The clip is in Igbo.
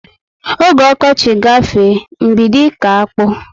Ógè okochi gafee, m bido iko akpụ